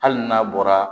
Hali n'a bɔra